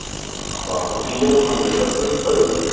Þar hafði Jóhann reyndar frumkvæðið.